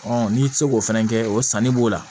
n'i ti se k'o fɛnɛ kɛ o sanni b'o la